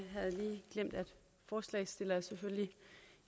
forslagsstillerne selvfølgelig